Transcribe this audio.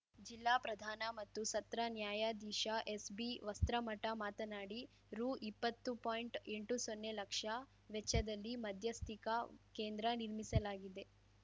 ಜಿಲ್ಲಾ ಪ್ರಧಾನ ಮತ್ತು ಸತ್ರ ನ್ಯಾಯಾಧೀಶ ಎಸ್‌ಬಿವಸ್ತ್ರಮಠ ಮಾತನಾಡಿ ರುಇಪ್ಪತ್ತು ಪಾಯಿಂಟ್ಎಂಟು ಸೊನ್ನೆ ಲಕ್ಷ ವೆಚ್ಚದಲ್ಲಿ ಮಧ್ಯಸ್ಥಿಕಾ ಕೇಂದ್ರ ನಿರ್ಮಿಸಲಾಗಿದೆ